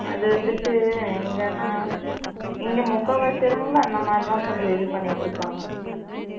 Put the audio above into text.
அது வந்துட்டு எங்கன்னா இங்க முக்காவாசி இதுல அந்த மாதிரி தான் கொஞ்சம் இது பண்ணிட்டு இருக்காங்க